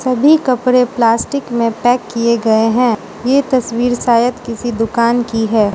सभी कपड़े प्लास्टिक में पैक किए गए हैं ये तस्वीर शायद किसी दुकान की है।